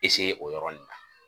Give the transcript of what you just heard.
o yɔrɔ nin na